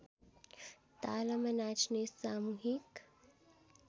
तालमा नाचिने सामूहिक